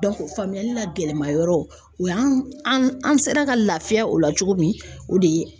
faamuyali la gɛlɛma yɔrɔ o y'an an an sera ka laafiya o la cogo min o de ye